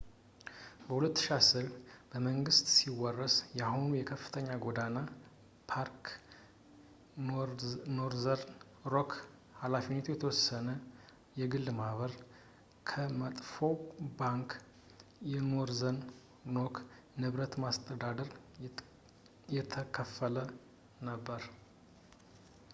በ2010፣ በመንግሥት ሲወረስ የአሁኑ የከፍተኛ ጎዳና ባንክ ኖርዘርን ሮክ ኃ.የተ.ማ ከ«መጥፎው ባንክ» ኖርዘርን ሮክ ንብረት ማስተዳደር የተከፈለ ነበር